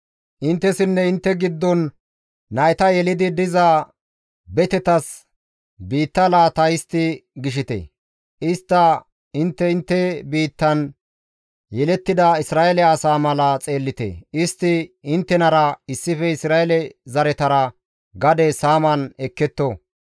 Inttessinne intte giddon nayta yelidi diza betetas biitta laata histti gishite. Istta intte intte biittan yelettida Isra7eele asa mala xeellite. Istti inttenara issife Isra7eele zaretara gade saaman ekketto.